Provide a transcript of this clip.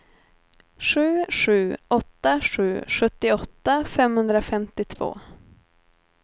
sju sju åtta sju sjuttioåtta femhundrafemtiotvå